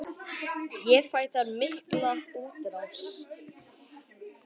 Ég fæ þar mikla útrás.